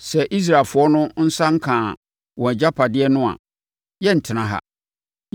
Sɛ Israelfoɔ no nsa nkaa wɔn agyapadeɛ no a, yɛrentena ha.